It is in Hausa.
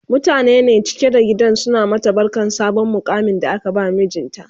mutane ne cike da gidan suna mata barkan sabon muƙamin da aka ba mijinta